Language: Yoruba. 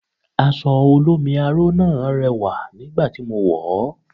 Aṣọ olómi aró náà rẹwà nígbà tí mo wọ̀ ọ́